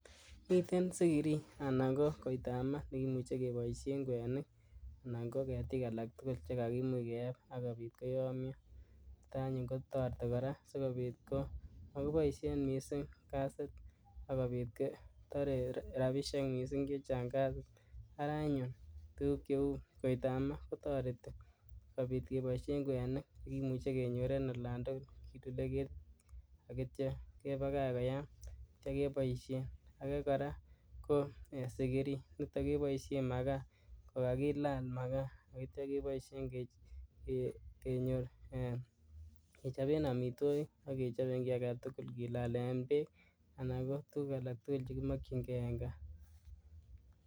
Miten sikirii anan kokoitamaa nekimuche keboisien kwenik anan koketik alak tugul chekakimuch keeb kotkoyomio niton anyun kotoreti koraa sikobit komokiboisien misink kasit ak kobit kotoree rabisiek misink chechang' kasit araa anyun koitamaa kotoreti kobit keboisien kwenik chekimuche kenyor en olan tugul ak itio kebakach koyaam ak itio keboisien, akee koraa ko sikirii niton keboisien makaa kokakilaal ak itio keboisien kechoben omitwokik ak kechobee kii aketugul kilalen beek anan kokii agetugul nekimokyinkee en kaa.